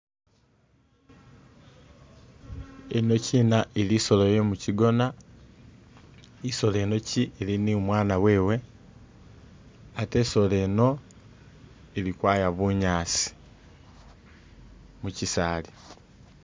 Yinokina isolo ye mukigona, isolo yinokina ili ni umwaana wewe ate isolo yino ili kwaya bunyaasi mu kisaali.